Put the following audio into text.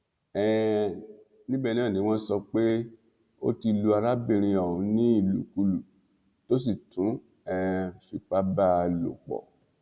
um níbẹ náà ni wọn sọ pé ó ti lu arábìnrin ọhún ní ìlùkulù tó sì tún um fipá bá a a lòpọ